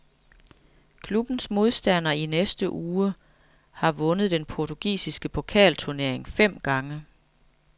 Klubbens modstander i næste uge har vundet den portugisiske pokalturnering fem gange.